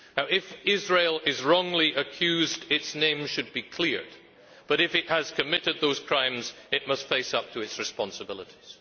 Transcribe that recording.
If Israel is wrongly accused, its name should be cleared, but if it has committed those crimes, it must face up to its responsibilities.